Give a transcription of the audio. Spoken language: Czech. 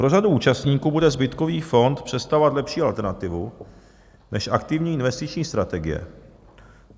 Pro řadu účastníků bude zbytkový fond představovat lepší alternativu než aktivní investiční strategie.